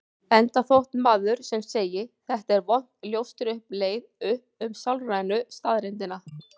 Enda þótt maður sem segi: Þetta er vont ljóstri um leið upp um sálrænu staðreyndina.